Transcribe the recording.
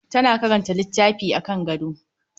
Tana karanta littafi akan gado.